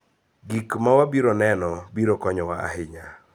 Gik ma wabiro neno biro konyowa ahinya.